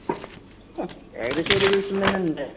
ഏകദേശം ഒരു ദിവസം തന്നെ ഉണ്ടാരുന്നുള്ളു.